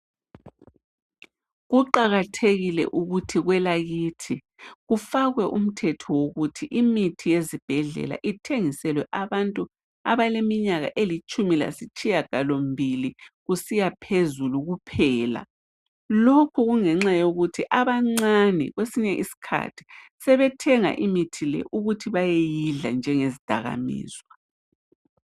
Kuqakathekile ukuthi kwelakithi kufakwe umthetho wokuthi imithi yezibhedlela ithengiselwe abantu abaleminyaka elitshumi lasitshiyagalombili kusiya phezulu kuphela. Lokhu kungenxa yokuthi abancane kwesinye isikhathi sebethenga imithi le babeyidla njengezidakamizwa.